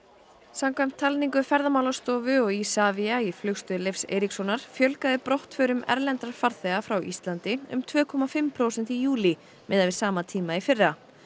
samkvæmt talningu Ferðamálastofu og Isavia í Flugstöð Leifs Eiríkssonar fjölgaði brottförum erlendra farþega frá Íslandi um tvö og hálft prósent í júlí miðað við sama tíma í fyrra